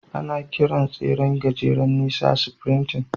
Ana kiran tseren gajeren nisa "sprinting."